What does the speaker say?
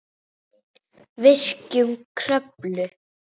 Virkjun Kröflu